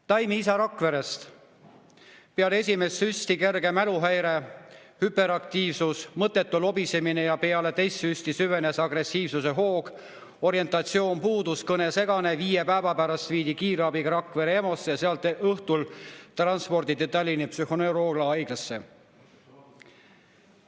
Taimi isa Rakverest: peale esimest süsti kerge mäluhäire, hüperaktiivsus, mõttetu lobisemine, peale teist süsti süvenes agressiivsuse hoog, orientatsioon puudus, kõne segane, viie päeva pärast viidi kiirabiga Rakvere EMO‑sse ja sealt õhtul transporditi Tallinna psühhoneuroloogiahaiglasse.